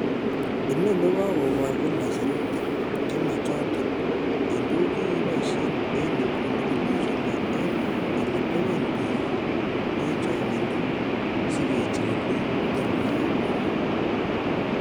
Inoni ko kokobor kila sirutik chemochoton, en tuguk chekiboishen che en inguni ko lasima en ele teben bik en chongindo si kechigilen tingoek ab corona.